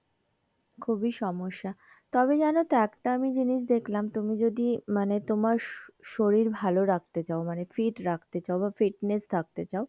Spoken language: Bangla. খুবই সমস্যা তবে জানো তো একটা আমি জিনিস দেখলাম, তুমি যদি মানে তোমার শরীর ভালো রাখতে চাও মানে fit রাখতে চাও fitness থাকতে চাও,